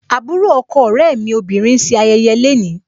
Àbúrò ọkọ ọ̀rẹ́ mi obìnrin ń ṣe ayẹyẹ le ni.